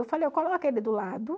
Eu falei, eu coloco ele do lado.